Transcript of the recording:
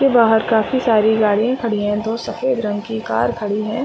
ये बाहर काफी सारे गाड़िया खड़ी है दो सफ़ेद रंग की कार खड़ी है ।